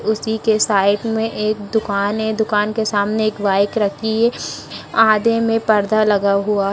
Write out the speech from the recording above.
उसी के साइड में एक दुकान है दुकान के सामने एक बाइक रखी है | आधे में पर्दा लगा हुआ--